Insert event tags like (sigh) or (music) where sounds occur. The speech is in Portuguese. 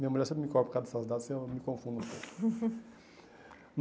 Minha mulher sempre me cobre por causa dessas dadas, e eu me confundo (laughs)